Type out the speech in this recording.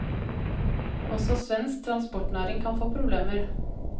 Også svensk transportnæring kan få problemer.